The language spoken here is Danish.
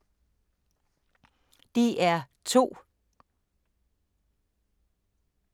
DR2